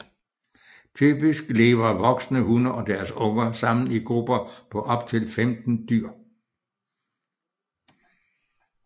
Typisk lever voksne hunner og deres unger sammen i grupper på op til 15 dyr